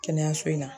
Kɛnɛyaso in na